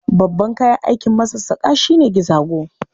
Babban kayan aikin masassaƙa shi ne gizago.